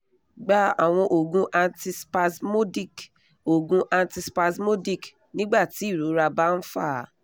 gba àwọn oogun antispasmodic oogun antispasmodic nígbàtí irora bá ń fa á